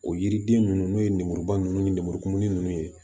O yiriden ninnu n'o ye lemuruba ninnu ni lemuru kumuni ninnu ye